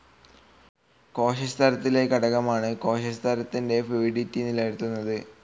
കോശസ്തരത്തിലെ ഘടകമാണിത്. കോശസ്തരത്തിന്റെ ഫ്ലൂയിഡിറ്റി നിലനിർത്തുന്നു.